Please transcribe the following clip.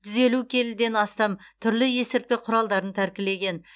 жүз елу келіден астам түрлі есірткі құралдарын тәркілеген